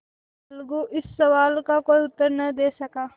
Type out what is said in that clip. अलगू इस सवाल का कोई उत्तर न दे सका